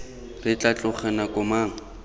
re tla tloga nako mang